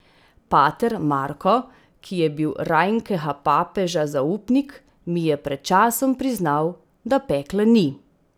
Pater Marko, ki je bil rajnkega papeža zaupnik, mi je pred časom priznal, da pekla ni.